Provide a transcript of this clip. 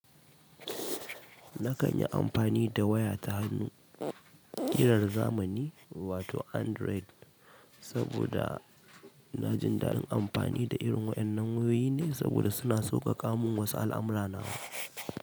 Na kan yi amfani da waya ta hannu ƙirar zamani wato Android, saboda na jin daɗin amfani da irin waɗannan wayoyi ne saboda suna sauƙaƙa mun wasu al'amurra na.